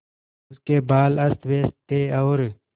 उसके बाल अस्तव्यस्त थे और